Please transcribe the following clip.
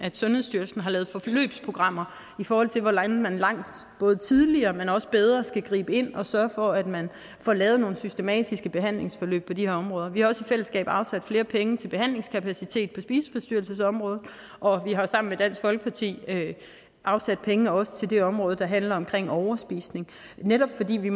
sundhedsstyrelsen har lavet forløbsprogrammer i forhold til hvordan man langt tidligere men også bedre skal gribe ind og sørge for at man får lavet nogle systematiske behandlingsforløb på de her områder vi har også i fællesskab afsat flere penge til behandlingskapacitet på spiseforstyrrelsesområdet og vi har sammen med dansk folkeparti afsat penge til også det område der handler om overspisning netop fordi vi